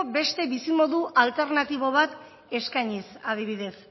beste bizimodu alternatibo bat eskainiz adibidez